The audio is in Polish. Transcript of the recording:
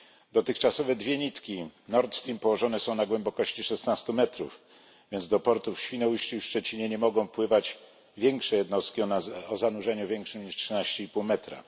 Dotychczasowe dwie nitki Nord Stream położone są na głębokości 16 metrów, więc do portu w Świnoujściu i Szczecinie nie mogą wpływać większe jednostki o zanurzeniu większym niż 13,5 metra.